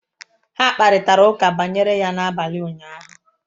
Ha kparịtara ụka banyere ya n'abalị ụnyahụ